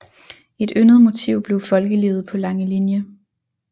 Et yndet motiv blev folkelivet på Langelinie